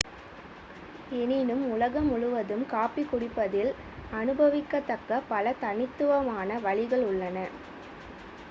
எனினும் உலகம் முழுவதும் காபி குடிப்பதில் அனுபவிக்கத்தக்க பல தனித்துவமான வழிகள் உள்ளன